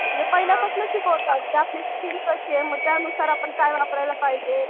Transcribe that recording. म्हणजे पहिल्यापासूनच शिकवतात की आपली स्किन कशी आहे त्यानुसार आपल्याला काय वापरायला पाहिजे.